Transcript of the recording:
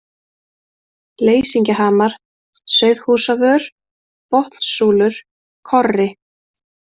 Leysingjahamar, Sauðhúsavör, Botnssúlur, Korri